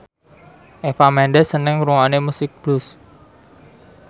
Eva Mendes seneng ngrungokne musik blues